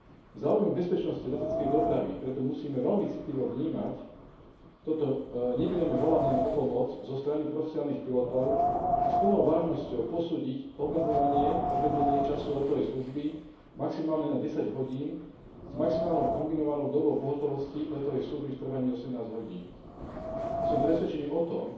V záujme bezpečnosti leteckej dopravy preto musíme veľmi citlivo vnímať toto nepriame volanie o pomoc zo strany profesionálnych pilotov a s plnou vážnosťou posúdiť obmedzenie času letovej služby maximálne na 10 hodín, s maximálnou kombinovanou dobou pohotovosti letovej služby v trvaní 18 hodín. Som presvedčený o tom,